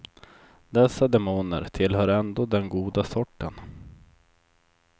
Dessa demoner tillhör ändå den goda sorten.